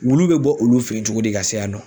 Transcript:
Wulu be bɔ olu fe yen cogodi ka se yan nɔ?